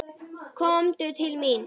Komdu til mín!